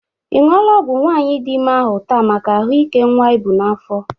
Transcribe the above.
Ị ṅụla ọgwụ nwaanyị dị ime ahụ taa maka ahụ ike nwa i bụ n'afọ.?